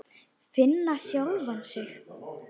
Finna sjálfa sig.